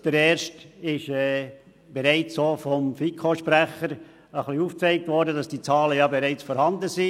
Den ersten hat der FiKo-Sprecher bereits aufgezeigt, dass die Zahlen bereit vorhanden sind.